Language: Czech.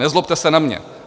Nezlobte se na mě.